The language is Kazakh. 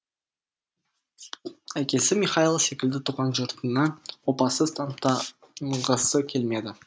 әкесі михайл секілді туған жұртына опасыз атанғысы келмеді